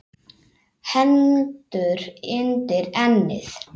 Hendur undir ennið.